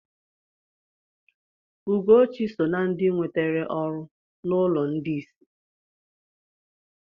Ugochi so na ndị nwetere ọrụ n'ụlọ ndị isi.